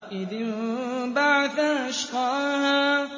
إِذِ انبَعَثَ أَشْقَاهَا